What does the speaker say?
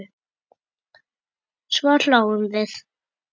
Svo hlógum við.